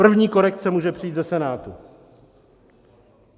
První korekce může přijít ze Senátu.